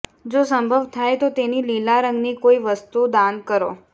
જો સંભવ થાય તો તેને લીલા રંગ ની કોઈ વસ્તુ દાન કરો